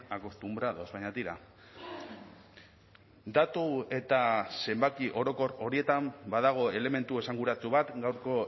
acostumbrados baina tira datu eta zenbaki orokor horietan badago elementu esanguratsu bat gaurko